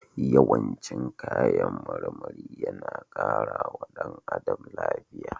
Yawan cin kayan marmari yana kara wa ɗan adam lafiya.